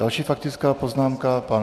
Další faktická poznámka pan...